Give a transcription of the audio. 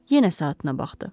Yenə saatına baxdı.